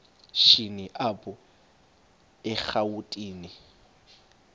shini apho erawutini